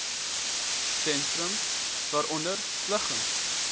sentrums waaronder liggings